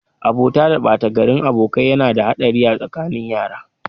Abota da batagarin abokai yana da haɗari a tsakanin yara.